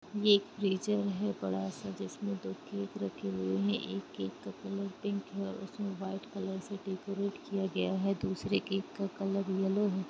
ये एक फ्रीजर है बड़ा सा जिसमे दो केक रखे हुए है एक केक का कलर पिंक है उसमे वाइट कलर से डेकोरेट किया गया है दूसरे केक का कलर येल्लो हैं।